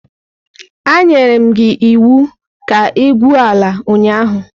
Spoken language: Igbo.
Anyere m gi iwu ka igwuo ala ụnyahụ!